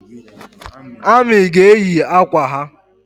Amị ga-eji akwa ha